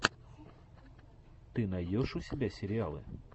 ты найдешь у себя сериалы